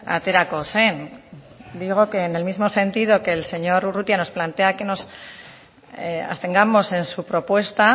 aterako zen digo que en el mismo sentido que el señor urrutia nos plantea que nos abstengamos en su propuesta